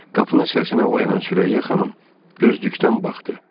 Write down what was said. Qapının səsinə oyanan Sürəyya xanım, gözdükdən baxdı.